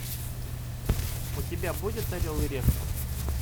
у тебя будет орел и решка